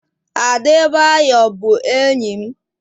Adebayor bụ enyi m.